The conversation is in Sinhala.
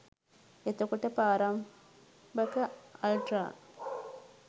එතකොට ප්‍රාරම්භක අල්ට්‍රා